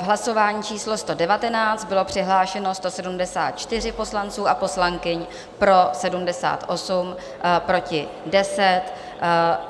V hlasování číslo 119 bylo přihlášeno 174 poslanců a poslankyň, pro 78, proti 10,